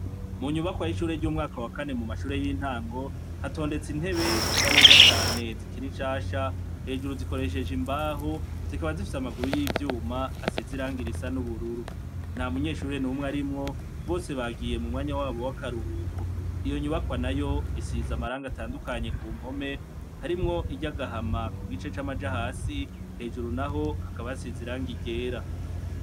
Mu nyubakwa y'ishure ry'umwaka wa kane mu mashure y'intango, hatondetse intebe zisa neza cane zikiri nshasha, hejuru zikoresheje imbaho zikaba zifise amaguru y'ivyuma asize irangi risa n'ubururu. Ntamunyeshure n'umwe arimwo, bose bagiye mu mwanya wabo w'akaruhuko. Iyo nyubakwa nayo isize amarangi atandukanye ku mpome, harimwo iry'agahama ku gice c'amaja hasi, hejuru naho hakaba hasize irangi ryera.